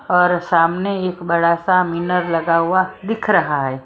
और सामने एक बड़ा सा मिनर लगा हुआ दिख रहा है।